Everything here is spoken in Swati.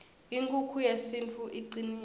inkukhu yesintfu icnile